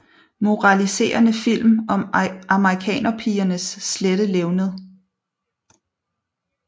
Moraliserende film om amerikanerpigernes slette levned